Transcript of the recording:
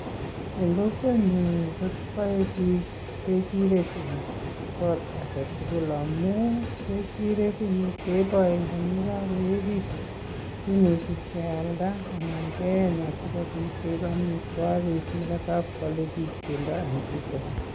En kokwenyun ko boe bik ngechirek en kot agetukul amun ngechirek en yuu keboe yekokoekitun kimuche kealda anan keyech asikopit koik omitwokik netobokwole bik pendo en [vs]butcher